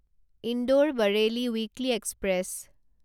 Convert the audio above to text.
Indore Bareilly weekly express